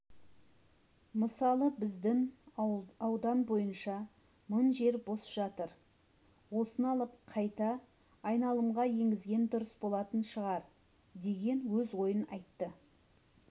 мысалы біздің аудан бойынша мың жер бос жатыр осыны алып қайта айналымға енгізген дұрыс болатын шығар деген өз ойын айтты